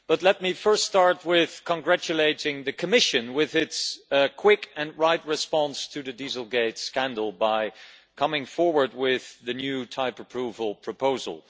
Let me start by congratulating the Commission on its quick and right response to the Dieselgate scandal by coming forward with the new type approval proposal.